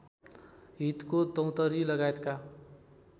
हितको दौंतरी लगायतका